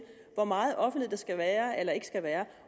hvor meget offentlighed der skal være eller ikke skal være